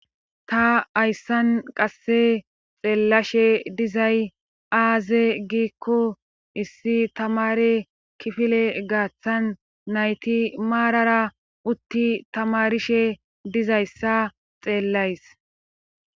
Ta ayssan qasse xeellashe dizay aaze giikko issi tamare kifile gaaththan nayti maarara utti tamarishe dizayssa xeellays.